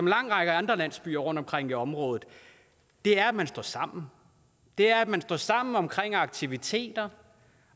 lang række andre landsbyer rundtomkring i området er at man står sammen det er at man står sammen om aktiviteter